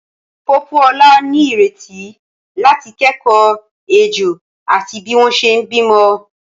Pópóọlá ní ìrètí láti kẹ́kọ̀ọ́ ejò àti bí wọ́n ṣe bímọ.